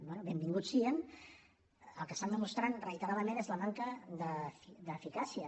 bé benvinguts siguin el que estan demostrant reiteradament és la manca d’eficàcia